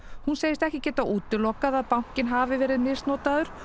hún segist ekki geta útilokað að bankinn hafi verið misnotaður